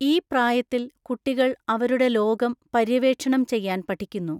ഈ പ്രായത്തിൽ, കുട്ടികൾ അവരുടെ ലോകം പര്യവേക്ഷണം ചെയ്യാൻ പഠിക്കുന്നു.